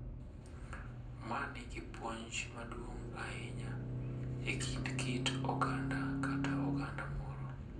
Ma nigi puonj maduong’ ahinya e kind kit oganda kata oganda moro,